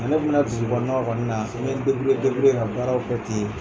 ne kun bɛ na dugukɔnɔnaw kɔni na n bɛ ka baaraw kɛ ten.